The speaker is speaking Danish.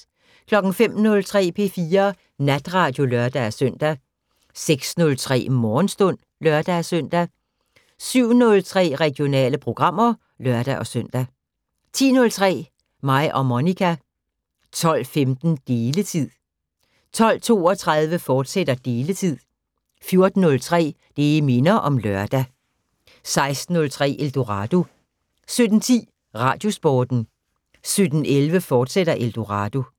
05:03: P4 Natradio (lør-søn) 06:03: Morgenstund (lør-søn) 07:03: Regionale programmer (lør-søn) 10:03: Mig og Monica 12:15: Deletid 12:32: Deletid, fortsat 14:03: Det minder om lørdag 16:03: Eldorado 17:10: Radiosporten 17:11: Eldorado, fortsat